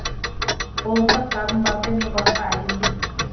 қолымда кітабым барда мен басқа әлемдемін